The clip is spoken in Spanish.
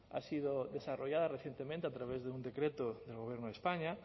ha sido desarrollada recientemente a través de un decreto del gobierno de españa